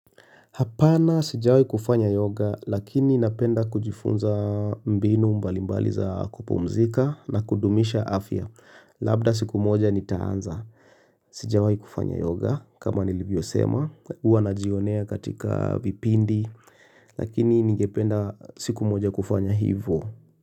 Hapana sijawai kufanya yoga lakini napenda kujifunza mbinu mbalimbali za kupumzika na kudumisha afya. Labda siku moja nitaanza. Sijawai kufanya yoga kama nilivyo sema huwa najionea katika vipindi lakini ningependa siku moja kufanya hivo.